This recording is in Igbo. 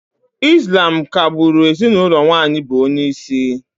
Ị́slám ka-gbụ́ru ezinụlọ nwaanyị bụ onyeisi